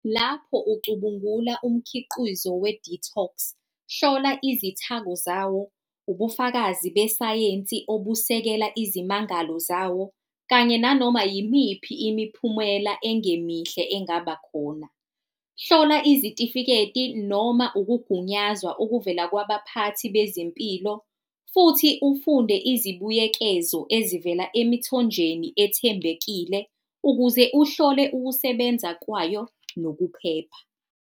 Lapho ucubungula umkhiqizo we-detox, hlola izithako zawo, ubufakazi besayensi obusekela izimangalo zawo kanye nanoma yimiphi imiphumela engemihle engaba khona. Hlola izitifiketi noma ukugunyazwa okuvela kwabaphathi bezempilo futhi ufunde izibuyekezo ezivela emithonjeni ethembekile ukuze uhlole ukusebenza kwayo nokuphepha.